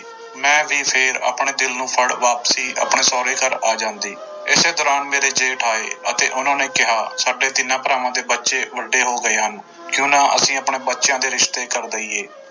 ਮੈਂ ਵੀ ਫਿਰ ਆਪਣੇ ਦਿਲ ਨੂੰ ਫੜ ਵਾਪਸੀ ਆਪਣੇ ਸਹੁਰੇ ਘਰ ਆ ਜਾਂਦੀ ਇਸੇ ਤਰ੍ਹਾਂ ਮੇਰੇ ਜੇਠ ਆਏ ਅਤੇ ਉਹਨਾਂ ਨੇ ਕਿਹਾ ਸਾਡੇ ਤਿੰਨਾਂ ਭਰਾਵਾਂ ਦੇ ਬੱਚੇ ਵੱਡੇ ਹੋ ਗਏ ਹਨ ਕਿਉਂ ਨਾ ਅਸੀਂ ਆਪਣੇ ਬੱਚਿਆਂ ਦੇ ਰਿਸ਼ਤੇ ਕਰ ਦੇਈਏ।